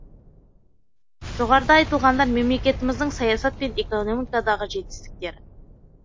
жоғарыдағы айтылғандар мемлекетіміздің саясат пен экономикадағы жетістіктері